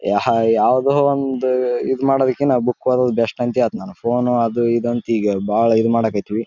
ಯಾವ್ದೋ ಒಂದ್ ಇದ್ ಮಾಡೋದಕ್ಕಿನ ಬುಕ್ ಓದೋದ್ ಬೆಸ್ಟ್ ಅಂತ ಹೇಳ್ತೀನಿ ನಾನು ಫೋನ್ ಅದು ಇದು ಅಂತ ಈಗ ಬಾಳ ಇದು ಮಾಡಕತಿವಿ.